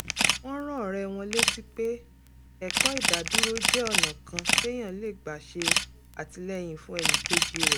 wọ́n rán ọ̀rẹ́ wọn létí pé ẹ̀kọ́ ìdádúró jẹ́ ọ̀nà kan téèyàn lè gbà ṣè àtìlẹ́yìn fún ẹnìkejì rẹ̀